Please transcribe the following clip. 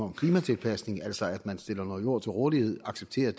om klimatilpasning altså at man stiller noget jord til rådighed accepterer at